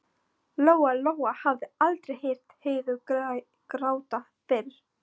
Lóa-Lóa hafði aldrei heyrt Heiðu gráta fyrr.